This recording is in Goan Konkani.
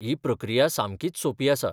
ही प्रक्रिया सामकीच सोपी आसा.